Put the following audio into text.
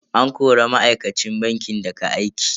An kori ma'aikacin bankin daga aiki.